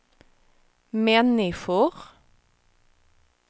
människor